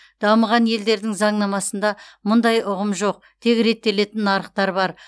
дамыған елдердің заңнамасында мұндай ұғым жоқ тек реттелетін нарықтар бар